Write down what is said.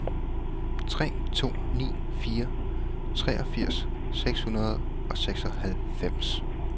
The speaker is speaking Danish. tre to ni fire treogfirs seks hundrede og seksoghalvfems